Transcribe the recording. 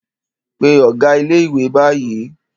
Pe ọ̀gá ilé-ìwé báyìí!